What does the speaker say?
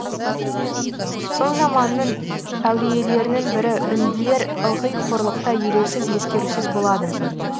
сол заманның әулиелерінің бірі үнділер ылғи қорлықта елеусіз ескерусіз болады